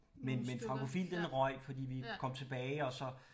Men men Francophile den røg fordi vi kom tilbage og så